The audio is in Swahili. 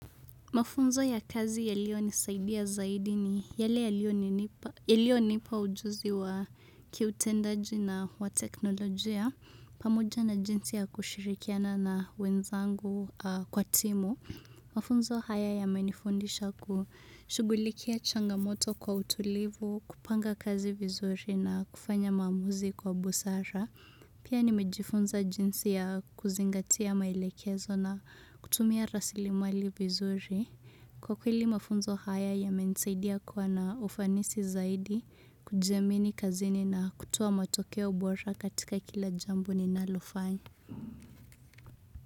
Mafunzo ya kazi yaliyonisaidia zaidi ni yale yalionipa ujuzi wa kiutendaji na wa teknolojia. Pamoja na jinsi ya kushirikiana na wenzangu kwa timu. Mafunzo haya yamenifundisha kushughulikia changamoto kwa utulivu, kupanga kazi vizuri na kufanya maamuzi kwa busara. Pia nimejifunza jinsi ya kuzingatia maelekezo na kutumia rasilimali vizuri. Kwa kweli mafunzo haya yamenisaidia kuwa na ufanisi zaidi kujiamini kazini na kutoa matokeo bora katika kila jambo ninalofanya.